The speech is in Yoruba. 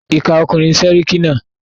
Ìkà ọkùnrin ni séríkí náà.